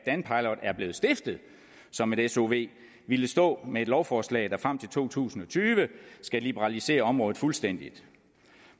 blevet stiftet som et sov ville ville stå med et lovforslag der frem til to tusind og tyve skal liberalisere området fuldstændig